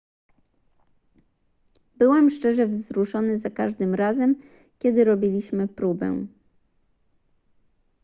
byłem szczerze wzruszony za każdym razem kiedy robiliśmy próbę